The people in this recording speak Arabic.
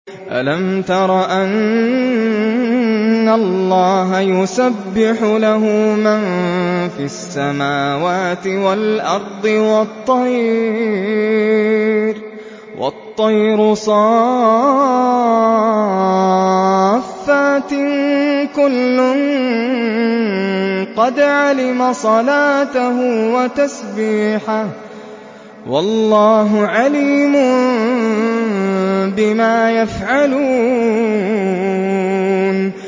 أَلَمْ تَرَ أَنَّ اللَّهَ يُسَبِّحُ لَهُ مَن فِي السَّمَاوَاتِ وَالْأَرْضِ وَالطَّيْرُ صَافَّاتٍ ۖ كُلٌّ قَدْ عَلِمَ صَلَاتَهُ وَتَسْبِيحَهُ ۗ وَاللَّهُ عَلِيمٌ بِمَا يَفْعَلُونَ